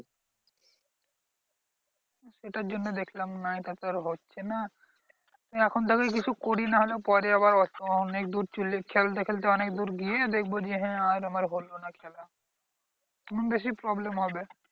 এটার জন্য দেখলাম না এটা তো আর হচ্ছে না, এখন থেকেই কিছু করি নাহলে পরে আবার অনেক দূর চলে খেলতে খেলতে দূর গিয়ে দেখবো যে হ্যাঁ আর আমার হলো না খেলা। তখন বেশি problem হবে।